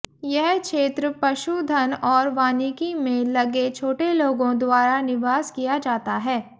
यह क्षेत्र पशुधन और वानिकी में लगे छोटे लोगों द्वारा निवास किया जाता है